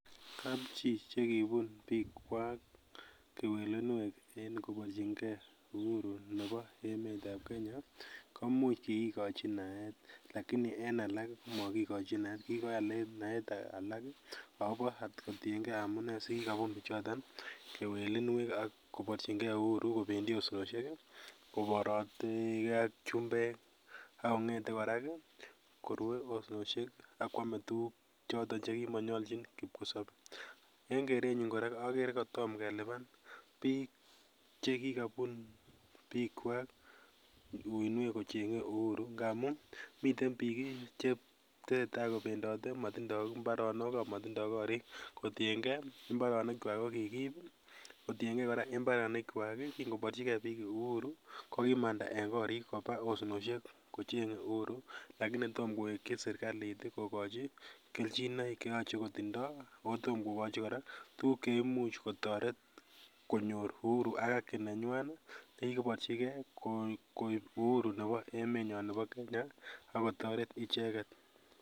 Kapchii chekibun biikwak kewelinwek en koporchingee Uhuru nebo emetab kenya komuch kikikochi naet lakini en alak komokikochi naet, kikikochi naet alak akobo kotienge amunee sikikobunu bichoton kewelinwek ak koborchingee uhuru kobendi osnosiek koborotekee ak chumbeek akong'ete kora ako rue osnosiek ak kwame tuguk choton chekimokonyolchin kipkosobe en kerenyun akere kotom kelipan biik chekikobun biikwak uinwek kocheng'ee uhuru ngamun miten biik chetese tai kobendote amotinye mbaronok amotindoo korik kotiengee mbaronikwak kokikiib, kotiengee mbaronikwak kingo borchikee biik uhuru kokimandaa en korik kobaa osnosiek kocheng'ee uhuru lakini tom kowekyi serikalit kokochi kelchinoik cheyoche kotindoo ako tom kokochi kora tuguk cheimuch kotoret konyor uhuru ak aki nenywan ii nekikoborchikee koib uhuru nebo emenyon kenya akotoret icheket.